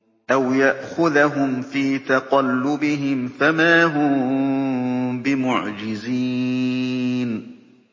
أَوْ يَأْخُذَهُمْ فِي تَقَلُّبِهِمْ فَمَا هُم بِمُعْجِزِينَ